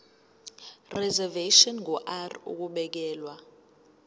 reservation ngur ukubekelwa